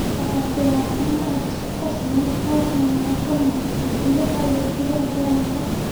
Waa ciyaaryahan aad isku kalsoon, taasna waxay ka muuqataa gudaha iyo dibadda garoonka.